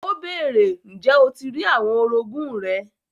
Ó bèèrè, ǹjẹ́ o ti rí àwọn orogún rẹ?